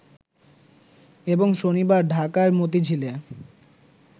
এবং শনিবার ঢাকার মতিঝিলে